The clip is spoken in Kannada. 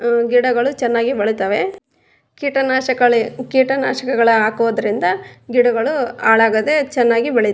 ಮ್ಮ್ ಗಿಡಗಳು ಚೆನ್ನಾಗಿ ಬಳಿತವೆ ಕೀಟನಾಶಕಳಿ ಕೀಟನಾಶಕಗಳ ಹಾಕೋದ್ರಿಂದ ಗಿಡಗಳು ಹಾಳಾಗದೆ ಚೆನ್ನಾಗಿ ಬೆಳಿ --